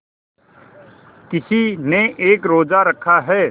किसी ने एक रोज़ा रखा है